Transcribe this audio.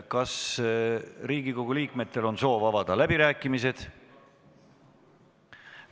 Kas Riigikogu liikmetel on soov avada läbirääkimised?